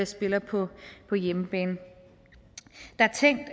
spiller på på hjemmebane der er tænkt